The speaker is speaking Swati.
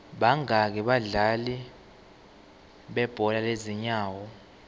bangaki abadlali bebhola lezinyawo